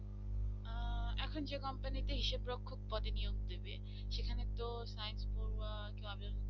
এখন যে company তে হিসাব রক্ষক পদে নিয়োগ দেবে সেখানে তো science পড়বা কেউ আবেদন করতে